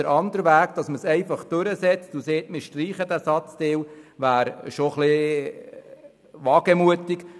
Der andere Weg, den Antrag einfach durchzusetzen und den Satzteil zu streichen, wäre etwas wagemutig.